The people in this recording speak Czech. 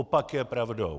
Opak je pravdou.